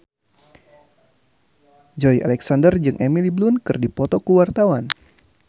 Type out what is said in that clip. Joey Alexander jeung Emily Blunt keur dipoto ku wartawan